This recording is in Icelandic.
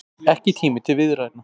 Ekki tími til viðræðna